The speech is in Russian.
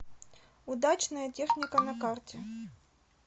удачная техника на карте